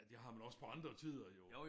Det har man også på andre tider jo